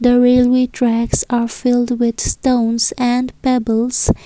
the railway tracks are filled with stones and pebbles.